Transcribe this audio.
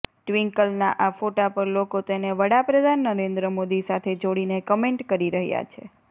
ટ્વિંકલના આ ફોટા પર લોકો તેને વડાપ્રધાન નરેન્દ્ર મોદી સાથે જોડીને કમેન્ટ કરી રહ્યા છે